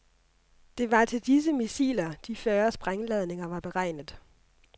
Det var til disse missiler, de fyrre sprængladninger var beregnet.